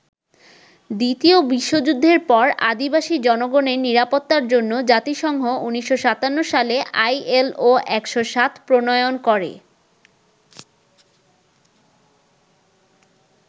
দ্বিতীয় বিশ্বযুদ্ধের পর আদিবাসী জনগণের নিরাপত্তার জন্য জাতিসংঘ ১৯৫৭ সালে আইএলও ১০৭ প্রণয়ন করে।